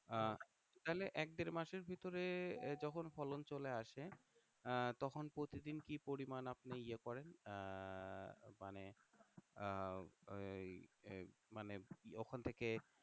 আহ তাহলে এক দেড় মাসের ভিতরে যখন ফলন চলে আসে আহ তখন প্রতিদিন কি পরিমাণ আপনি ইয়ে করেন আহ মানে আহ এই মানে ওখান থেকে